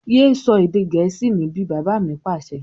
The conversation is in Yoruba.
Yé sọ èdè gẹ̀ẹ́sì níbí! Bàbá mi Pàṣẹ.